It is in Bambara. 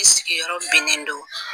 I sigi yɔrɔ binnen do